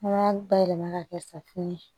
Mana bayɛlɛma ka kɛ safunɛ ye